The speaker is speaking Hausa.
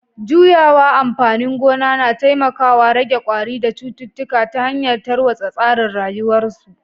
Juyawa amfanin gona na taimakawa rage kwari da cututtuka ta hanyar tarwatsa tsarin rayuwarsu